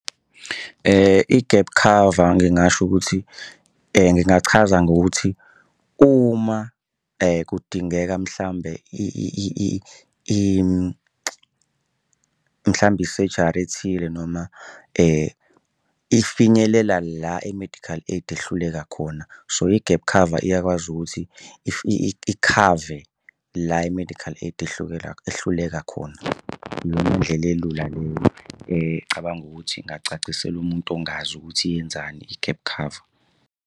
I-gap cover ngingasho ukuthi ngingachaza ngokuthi uma kudingeka mhlawumbe mhlawumbe isurgery ethile noma ifinyelela la i-medical aid ehluleka khona. So, i-gap cover iyakwazi ukuthi ikhave la i-medical aid ehluleka khona. Iyona ndlela elula leyo ngicabanga ukuthi ngingacacisela umuntu ongazi ukuthi yenzani i-gap cover.